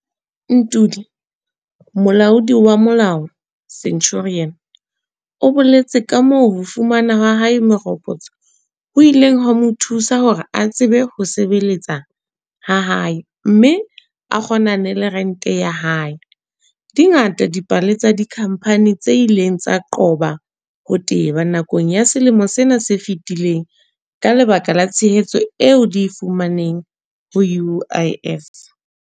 Ntuli, molaodi wa molao, Centurion, o boletse kamoo ho fumana ha hae meropotso ho ileng ha mo thusa hore a tsebe ho sebe-letsa hae mme a kgonane le rente ya hae. Di ngata dipale tsa dikhampani tse ileng tsa qoba ho teba nakong ya selemo sena se fetileng ka lebaka la tshehetso eo di e fumaneng ho UIF.